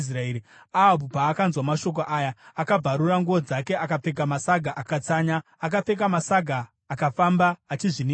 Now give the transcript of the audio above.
Ahabhu paakanzwa mashoko aya, akabvarura nguo dzake, akapfeka masaga akatsanya. Akapfeka masaga akafamba achizvininipisa.